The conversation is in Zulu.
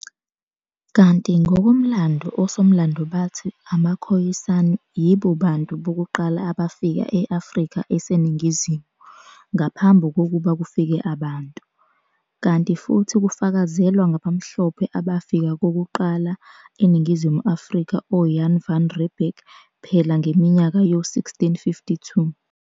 Kanti ngokomlando osomlando bathi amaKhoyisani yibo bantu bokuqala abafika e-Afrika eseNingizimu, ngaphambi kokuba kufike abantu. Kanti futhi kufakazelwa ngabamhlophe abafika kokuqala eNingizimu Afrika o-Jan Van Riebeck phela ngeminyaka yo 1652.